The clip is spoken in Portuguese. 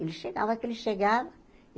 Ele chegava, que ele chegava.